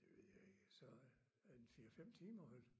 Det ved jeg ikke så en 4 5 timer vel